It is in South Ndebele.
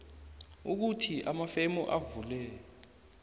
ukuthi amafemu avule